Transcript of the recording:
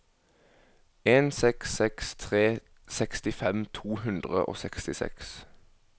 en seks seks tre sekstifem to hundre og sekstiseks